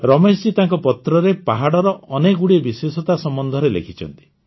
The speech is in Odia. ରମେଶଜୀ ତାଙ୍କ ପତ୍ରରେ ପାହାଡ଼ର ଅନେକଗୁଡ଼ିଏ ବିଶେଷତା ସମ୍ବନ୍ଧରେ ଲେଖିଛନ୍ତି